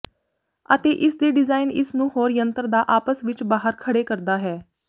ਅਤੇ ਇਸ ਦੇ ਡਿਜ਼ਾਇਨ ਇਸ ਨੂੰ ਹੋਰ ਯੰਤਰ ਦਾ ਆਪਸ ਵਿੱਚ ਬਾਹਰ ਖੜ੍ਹੇ ਕਰਦਾ ਹੈ